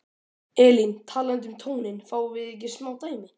Elín: Talandi um tóninn, fáum við ekki smá dæmi?